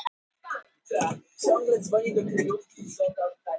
Það er ekki eins og pabba þínum hafi ekki verið sjálfrátt.